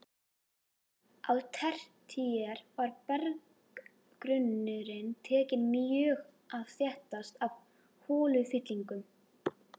Á tertíer var berggrunnurinn tekinn mjög að þéttast af holufyllingum.